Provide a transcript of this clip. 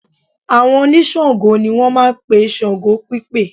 Àwọn oníṣàngó ni wọ́n máa ń pe ṣàngó pípè